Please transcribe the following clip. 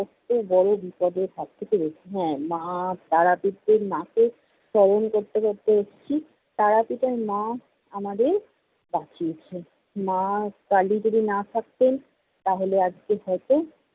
কত্ত বড় বিপদের হাত থেকে বেঁচেছি। হ্যা, মা তারাপীঠের মাকে স্মরণ করতে করতে এসেছি। তারাপীঠার মা আমাদের বাঁচিয়েছেন। মা কালী যদি না থাকতেন, তাহলে আজকে হয়তো